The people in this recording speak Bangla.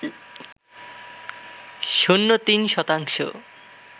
শূন্য তিন শতাংশ